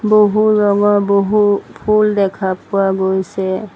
বহু ৰঙৰ বহু ফুল দেখা পোৱা গৈছে।